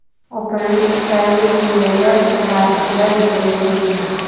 O‘pirilish tufayli bu yerda tirbandliklar yuzaga kelgan.